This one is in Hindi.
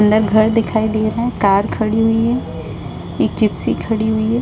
अंदर घर दिखाई दे रहा है कार खड़ी हुई है एक जिप्सी खड़ी हुई हैं।